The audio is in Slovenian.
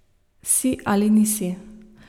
Si ali nisi.